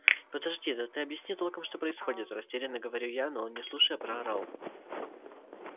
подожди да ты объясни толком что происходит растеряно говорю я но он не слушая проорал